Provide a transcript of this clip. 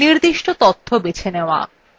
নির্দিষ্ট তথ্য বেছে নেওয়া